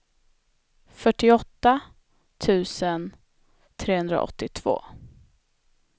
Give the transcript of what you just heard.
fyrtioåtta tusen trehundraåttiotvå